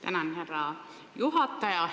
Tänan, härra juhataja!